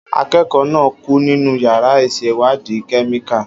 Akẹ́kọ̀ọ́ náà kú nínú yàrá ìṣèwádìí kẹ́míkà.